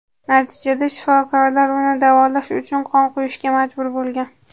Natijada shifokorlar uni davolash uchun qon quyishga majbur bo‘lgan.